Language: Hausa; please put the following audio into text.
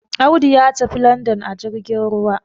Audu ya tafi London ajirgin ruwa